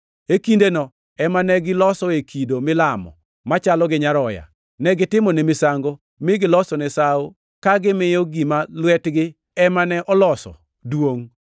E kindeno ema ne gilosoe kido milamo machalo gi nyaroya. Negitimone misango, mi gilosone sawo ka gimiyo gima lwetgi ema ne oloso duongʼ!